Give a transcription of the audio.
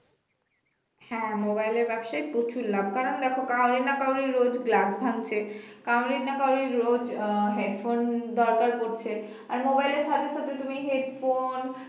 হ্যাঁ mobile এর ব্যবসায় প্রচুর লাভ কারণ দেখ কারো না কারো রোজ glass ভাঙছে, কারো না কারো রোজ আহ headphone দরকার পড়ছে আর mobile এর সাথে সাথে তুমি headphone